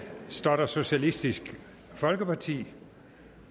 står der socialistisk folkeparti